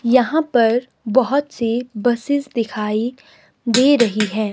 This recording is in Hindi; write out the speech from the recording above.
यहां पर बहोत सी बसेस दिखाई दे रही है।